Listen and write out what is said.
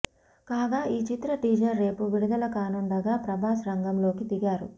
కాగా ఈ చిత్ర టీజర్ రేపు విడుదల కానుండగా ప్రభాస్ రంగంలోకి దిగారు